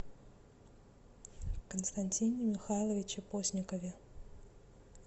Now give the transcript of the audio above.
константине михайловиче постникове